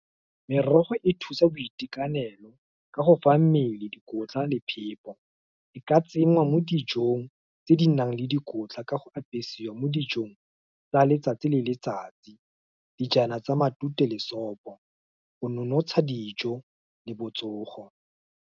Merogo e thusa boitekanelo, ka go fa mmele dikotla le phepo, e ka tsenngwa mo dijong, tse di nang le dikotla ka go apesiwa mo dijong, tsa letsatsi le letsatsi. Dijana tsa matute lesope, go nonotsha dijo le botsogo.